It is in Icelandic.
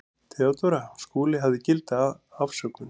THEODÓRA: Skúli hafði gilda afsökun.